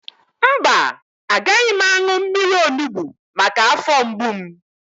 Mba, agaghị m aṅụ mmiri onugbu maka afọ mgbu m